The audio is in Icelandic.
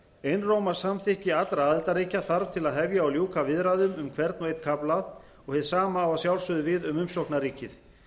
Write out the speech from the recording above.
einróma samþykki allra aðildarríkja þarf til að hefja og ljúka viðræðum um hvern og einn kafla og hið sama á að sjálfsögðu við um umsóknarríkið